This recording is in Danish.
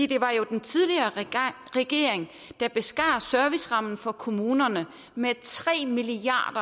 det var jo den tidligere regering der beskar servicerammen for kommunerne med tre milliard